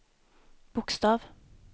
bokstav